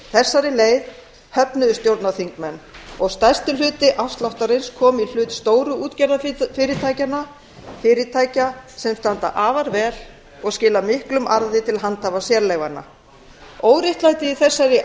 þessari leið höfnuðu stjórnarþingmenn og stærstur hluti afsláttarins kom í hlut stóru útgerðarfyrirtækjanna fyrirtækja sem standa afar vel og skila miklum arði til handhafa sérleyfanna óréttlætið í þessari